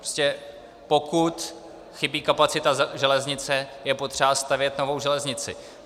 Prostě pokud chybí kapacita železnice, je potřeba stavět novou železnici.